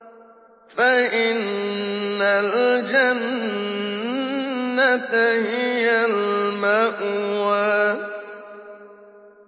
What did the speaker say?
فَإِنَّ الْجَنَّةَ هِيَ الْمَأْوَىٰ